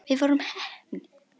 Við vorum heppni.